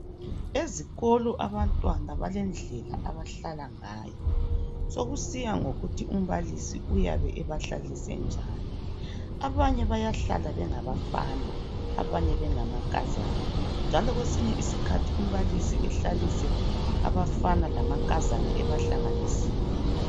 Ezikolo abantwana balendlela abahlala ngayo. Sokusiya ngokuthi umbalisi uyabe ebahlalise njani. Abanye bayahlala bengabafana abanye bengamankazana njalo kwesinye isikhathi umbalisi ehlalise abafana lamankazana ebahlanganisile.